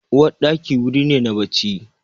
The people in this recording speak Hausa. Uwarɗaki wuri ne na bacci.